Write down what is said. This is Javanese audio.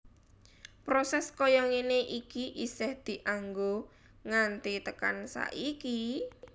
Proses kaya ngene iki isih dianggo nganti tekan saiki